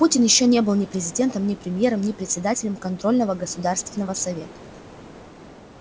путин ещё не был ни президентом ни премьером ни председателем контрольного государственного совета